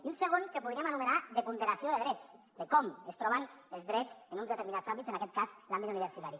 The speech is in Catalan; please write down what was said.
i un segon que podríem anomenar de ponderació de drets de com es troben els drets en uns determinats àmbits en aquest l’àmbit universitari